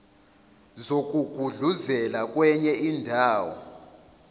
zokugudluzela kwenye indawo